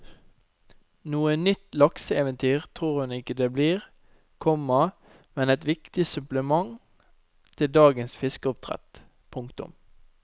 Noe nytt lakseeventyr tror hun ikke det blir, komma men et viktig supplement til dagens fiskeoppdrett. punktum